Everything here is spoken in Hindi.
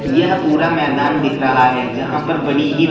यह पूरा मैदान दिख रहा है जहां पर बड़ी ही--